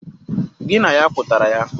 Gi na ya kwutara ya?